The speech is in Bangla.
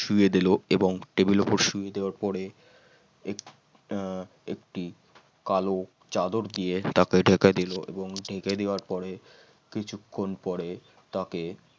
শুইয়ে দিল এবং টেবিলের উপর শুইয়ে দেওয়া পরে এক একটি কালো চাদর দিয়ে তাকে ঢেকে তুলে এবং ঢেকে দেওয়ার পরে কিছুক্ষণ পরে তাকে